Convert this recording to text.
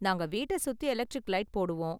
நாங்க வீட்ட சுத்தி எலெக்ட்ரிக் லைட் போடுவோம்.